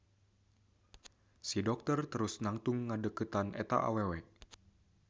Si dokter terus nangtung ngadeukeutan eta awewe.